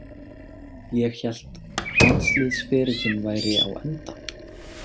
Ég hélt landsliðsferillinn væri á enda.